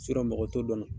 mɔgɔ t'o dɔn na